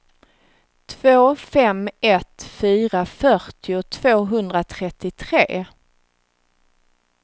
två fem ett fyra fyrtio tvåhundratrettiotre